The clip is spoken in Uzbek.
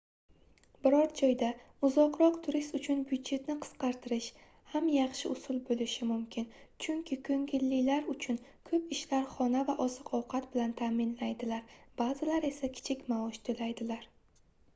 biror joyda uzoqroq turis uchun byudjetni qisqartirish ham yaxshi usul boʻlishi mumkin chunki koʻngillilar uchun koʻp ishlar xona va oziq-ovqat bilan taʼmilaydilar baʼzilari esa kichik maosh toʻlaydilar